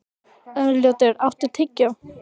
Arnljótur, áttu tyggjó?